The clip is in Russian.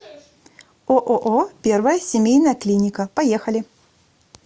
ооо первая семейная клиника поехали